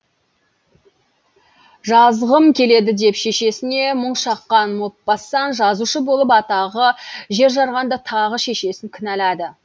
жазғым келеді деп шешесіне мұң шаққан мопассан жазушы болып атағы жер жарғанда тағы да шешесін кінәлады